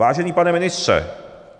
"Vážený pane ministře.